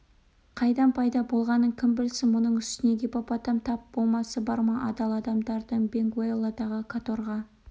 қайдан пайда болғанын кім білсін мұның үстіне гиппопотам тап болмасы бар ма адал адамдардың бенгуэлладағы каторға